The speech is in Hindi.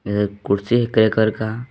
ये कुर्सी है ग्रे कर का --